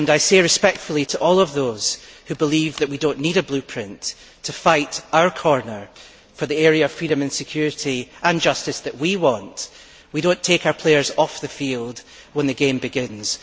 I say respectfully to all of those who believe that we do not need a blueprint to fight our corner for the area of freedom and security and justice that we want we do not take our players off the field when the game begins.